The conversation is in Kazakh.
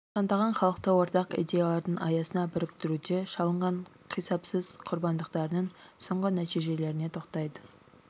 сандаған халықты ортақ идеялардың аясына біріктіруде шалынған қисапсыз құрбандықтарының соңғы нәтижелеріне тоқтайды